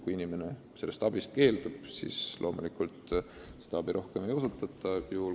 Kui inimene abist keeldub, siis loomulikult seda rohkem ei pakuta.